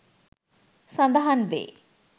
සඳහන් වේ